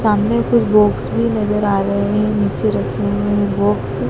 सामने कुछ बॉक्स भी नजर आ रहे हैं नीचे रखें हुए बॉक्स --